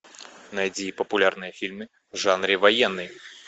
найди популярные фильмы в жанре военный